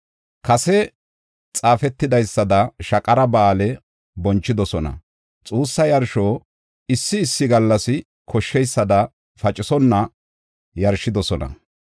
Kase xaafetidaysada Shaqara Ba7aale bonchidosona; xuussa yarsho issi issi gallas koshsheysada pacisonna yarshidosona.